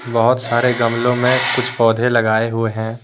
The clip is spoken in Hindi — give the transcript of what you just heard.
बहुत सारे गमले में कुछ पौधे लगाए हुए हैं।